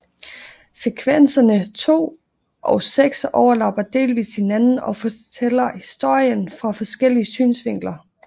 Sekvenserne 2 og 6 overlapper delvist hinanden og fortæller historien fra forskellige synsvinkler